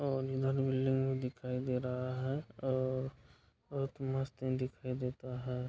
और इधर बिल्डिंग दिखाई दे रहा है और बहुत मस्त दिखाई देता है ।